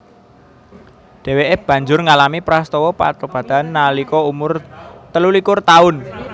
Dhèwèké banjur ngalami prastawa patobatan nalika umur telulikur taun